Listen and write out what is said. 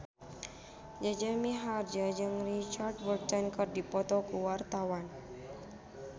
Jaja Mihardja jeung Richard Burton keur dipoto ku wartawan